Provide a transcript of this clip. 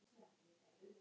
Forsmáð regla.